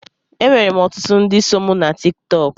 Enwerem ọtụtụ ndị so mụ na Tiktọk.